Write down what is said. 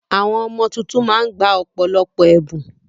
Àwọn ọmọ tuntun ma ń gba ọ̀pọ̀lọpọ̀ ẹ̀bùn.